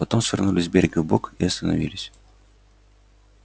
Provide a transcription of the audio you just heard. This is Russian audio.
потом свернули с берега вбок и остановились